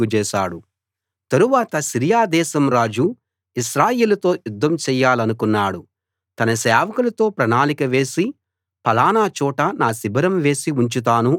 తరువాత సిరియా దేశం రాజు ఇశ్రాయేలుతో యుద్ధం చేయాలనుకున్నాడు తన సేవకులతో ప్రణాళిక వేసి ఫలానా చోట నా శిబిరం వేసి ఉంచుతాను అని చెప్పాడు